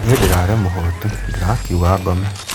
Nii ndirarĩ mũhutu ndĩrakiuga ngome